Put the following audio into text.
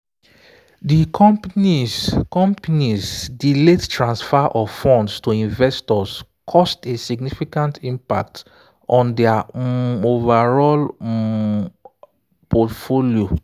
the company's company's delayed transfer of funds to investors caused a significant impact on their um overall um portfolio.